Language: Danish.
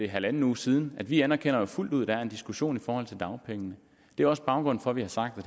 halv uge siden at vi anerkender fuldt ud at der er en diskussion i forhold til dagpengene det er også baggrunden for at vi har sagt at